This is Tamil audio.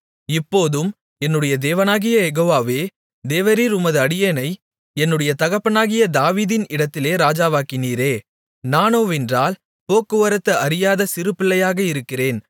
இப்போதும் என்னுடைய தேவனாகிய யெகோவாவே தேவரீர் உமது அடியேனை என்னுடைய தகப்பனாகிய தாவீதின் இடத்திலே ராஜாவாக்கினீரே நானோவென்றால் போக்குவரத்து அறியாத சிறுபிள்ளையாக இருக்கிறேன்